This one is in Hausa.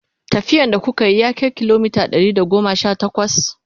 tafiyan da kukayi ya Kai kilomita Ɗari da goma Sha takwas?